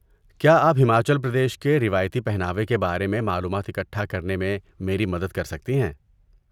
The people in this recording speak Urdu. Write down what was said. کیا آپ ہماچل پردیش کے روایتی پہناوے کے بارے میں معلومات اکٹھانے کرنے میں میری مدد کر سکتی ہیں؟